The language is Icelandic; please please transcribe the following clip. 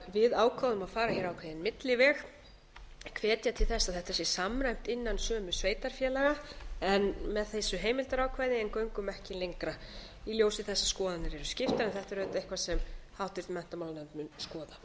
við ákváðum að fara hér ákveðinn milliveg hvetja til þess að þetta sé samræmt innan sömu sveitarfélaga með þessu heimildarákvæði en göngum ekki lengra í ljósi þess að skoðanir eru skiptar en þetta er eitthvað sem háttvirtur menntamálanefnd mun skoða